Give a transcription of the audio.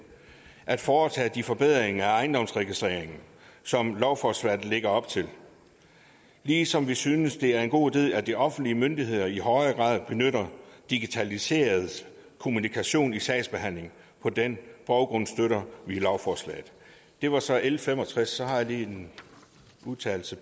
at foretage de forbedringer af ejendomsregistreringen som lovforslaget lægger op til ligesom vi synes at det er en god idé at de offentlige myndigheder i højere grad benytter digitaliseret kommunikation i sagsbehandlingen på den baggrund støtter vi lovforslaget det var så l fem og tres så har jeg lige en udtalelse